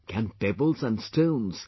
Can pebbles and stones,